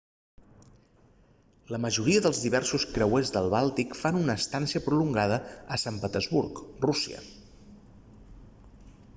la majoria dels diversos creuers del bàltic fan una estància prolongada a sant petersburg rússia